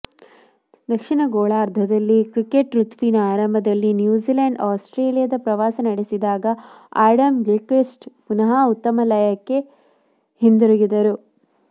ದಕ್ಷಿಣ ಗೋಲಾರ್ಧದಲ್ಲಿ ಕ್ರಿಕೆಟ್ ಋತುವಿನ ಆರಂಭದಲ್ಲಿ ನ್ಯೂಜಿಲೆಂಡ್ ಆಸ್ಟ್ರೇಲಿಯದ ಪ್ರವಾಸ ನಡೆಸಿದಾಗ ಅಡಾಮ್ ಗಿಲ್ಕ್ರಿಸ್ಟ್ ಪುನಃ ಉತ್ತಮ ಲಯಕ್ಕೆ ಹಿಂದಿರುಗಿದರು